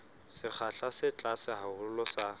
sekgahla se tlase haholo sa